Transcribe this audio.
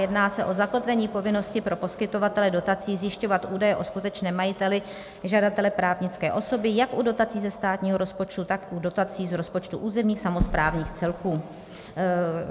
Jedná se o zakotvení povinnosti pro poskytovatele dotací zjišťovat údaje o skutečném majiteli žadatele právnické osoby jak u dotací ze státního rozpočtu, tak u dotací z rozpočtů územních samosprávných celků.